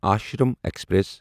Ashram express